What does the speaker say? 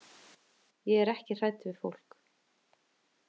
Ég er ekki hrædd við fólk.